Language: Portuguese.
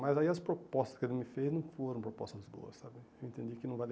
Mas aí as propostas que ele me fez não foram propostas boas, sabe? Eu entendi que não valia